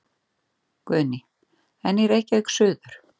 Guðný: En í Reykjavík suður?